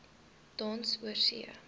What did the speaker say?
tans oorsee